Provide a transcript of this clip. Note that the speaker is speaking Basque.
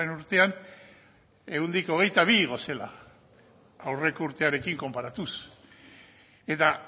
urtean ehuneko hogeita bi igo zela aurreko urtearekin konparatuz eta